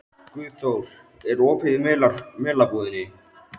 Guðþór, er opið í Melabúðinni?